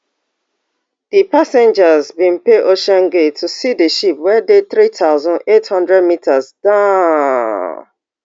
di passengers bin pay ocean gate to see di ship wey dey three thousand, eight hundred meters down